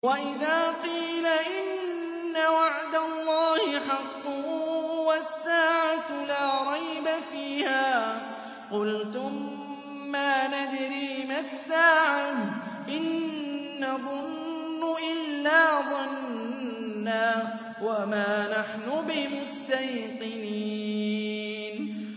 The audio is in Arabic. وَإِذَا قِيلَ إِنَّ وَعْدَ اللَّهِ حَقٌّ وَالسَّاعَةُ لَا رَيْبَ فِيهَا قُلْتُم مَّا نَدْرِي مَا السَّاعَةُ إِن نَّظُنُّ إِلَّا ظَنًّا وَمَا نَحْنُ بِمُسْتَيْقِنِينَ